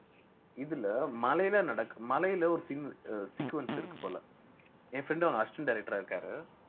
இதுல மலையில நடக்~ மலையில ஒரு சின்~ sequence இருக்கு போல என் friend அ ஒரு assistant director ஆ இருக்காரு